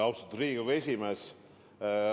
Austatud Riigikogu esimees!